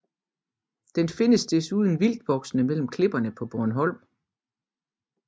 Den findes desuden vildtvoksende mellem klipperne på Bornholm